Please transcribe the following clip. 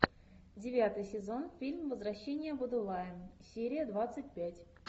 девятый сезон фильм возвращение будулая серия двадцать пять